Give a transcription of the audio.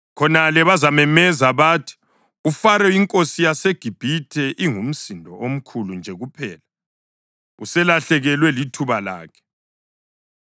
Khonale bazamemeza bathi, ‘UFaro inkosi yaseGibhithe ingumsindo omkhulu nje kuphela; uselahlekelwe lithuba lakhe.’